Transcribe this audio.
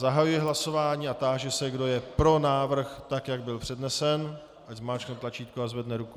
Zahajuji hlasování a táži se, kdo je pro návrh, tak jak byl přednesen, ať zmáčkne tlačítko a zvedne ruku.